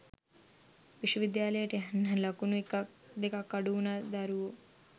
විශ්ව විද්‍යාලයට යන්න ලකුණු එකක් දෙකක් අඩුවන දරුවෝ